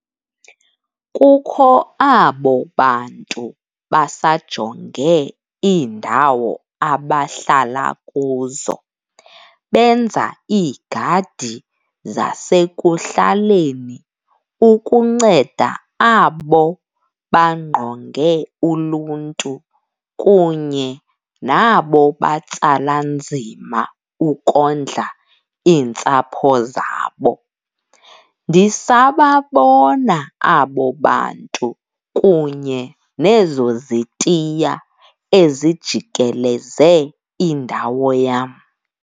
Kukho abo bantu basajonge iindawo abahlala kuzo, benza iigadi zasekuhlaleni ukunceda abo bangqonge uluntu kunye nabo batsala nzima ukondla iintsapho zabo. Ndisababona abo bantu kunye nezo zitiya ezijikeleze indawo yam.